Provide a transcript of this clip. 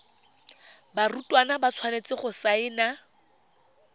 barutwana ba tshwanetse go saena